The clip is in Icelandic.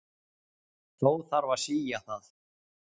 Þó þarf að sía það.